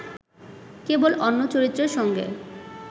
কেবল অন্য চরিত্রের সঙ্গে